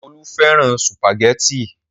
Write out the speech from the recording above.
Olú fẹ́ràn sùpàgẹ́tì.